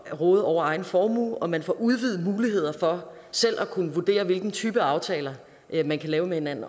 råde over egen formue og man får udvidede muligheder for selv at kunne vurdere hvilken type af aftaler man kan lave med hinanden